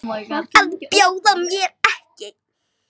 Að bjóða mér ekki.